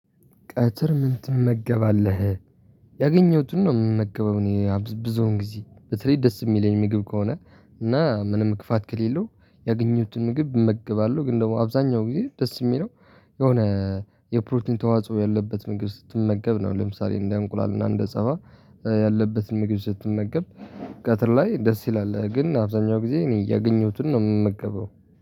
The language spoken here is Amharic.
ቀትር ምን ትመገባለህ? ያገኘሁትን ነው የምመገበው እኔ አብዝብዙን ጊዜ በተለይ ደስ የሚለኝ ምግብ ከሆነ እና ምንም ክፋት ከሌለው ያገኘሁትን ምግብ እመግባለሁ ግን ደግሞ አብዛኛው ጊዜ ደስ የሚለው የሆነ የፕሮቲን ተዋጽኦ ያለበት ምግብ ስትመገብ ነው ለምሳሌ እንደ እንቁላል እና እንደ ጸባ ያለበትን ምግድ ስትመገብ ቀትር ላይ ደስ ይላል ግን አብዛኛው ጊዜ እኔ ያገኘሁትን ነው የምመገበው።